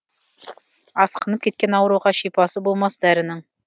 асқынып кеткен ауруға шипасы болмас дәрінің